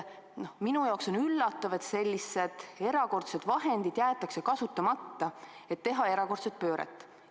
Minu jaoks on üllatav, et sellised erakordsed vahendid jäetakse kasutamata selleks, et teha erakordset pööret.